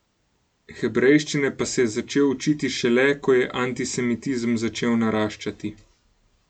Hebrejščine pa se je začel učiti šele, ko je antisemitizem začel naraščati.